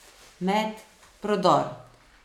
Met, prodor ...